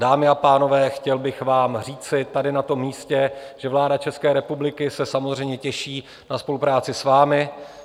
Dámy a pánové, chtěl bych vám říci tady na tom místě, že vláda České republiky se samozřejmě těší na spolupráci s vámi.